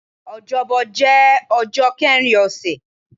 Ọjọ́bọ̀ jẹ́ ọjọ́ kẹrin ọ̀sẹ̀